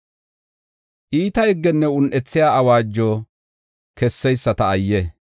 Iita higgenne un7ethiya awaajo kesseyisata ayye!